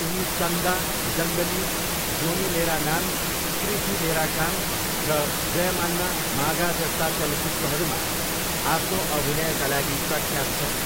उनी चन्दा, जङ्गली, जोनी मेरा नाम प्रीथी मेरा काम र जयम्माना मागा जस्ता चलचित्रहरूमा आफ्नो अभिनयका लागि प्रख्यात छन्।